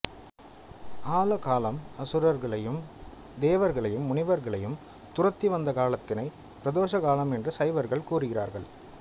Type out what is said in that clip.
ஆலகாலம் அசுரர்களையும் தேவர்களையும் முனிவர்களையும் துரத்தி வந்த காலத்தினை பிரதோச காலம் என்று சைவர்கள் கூறுகிறார்கள்